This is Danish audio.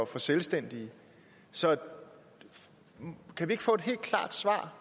for selvstændige så kan vi ikke få et helt klart svar